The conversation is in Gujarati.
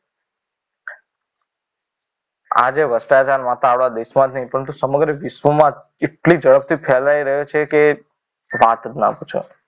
આજે ભ્રષ્ટાચાર આખા દેશમાં જ નહીં પરંતુ સમગ્ર વિશ્વમાં એટલી ઝડપથી ફેલાઈ રહ્યો છે કે વાત જ ન પૂછો.